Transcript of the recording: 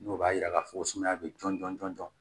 Dɔw b'a yira k'a fɔ sumaya be jɔn jɔn jɔn jɔn